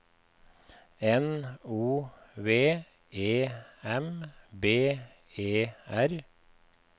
N O V E M B E R